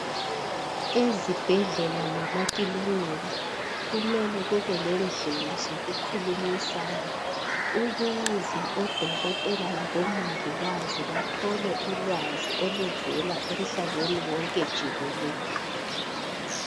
Ezibhedlela lemakilinika, kumele kube lendlela zokukhulumisana, ukuze odokotela labomongikazi bathole ulwazi oluvela emhlabeni wonke jikelele.